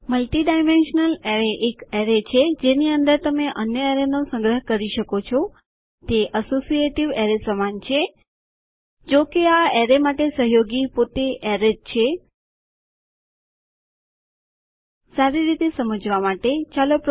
multidimensional એરેયએક array છે જેની અંદર તમે અન્ય એરેયનો સંગ્રહ કરી શકો છો